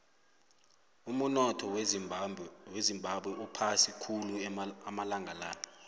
umunotho wezimbabwe uphasi khulu amalanga la